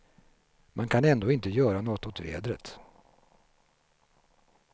Man kan ändå inte göra något åt vädret.